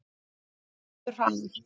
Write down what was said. Farðu hraðar.